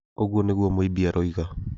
Ũguo nĩguo Mũimbi aroiga.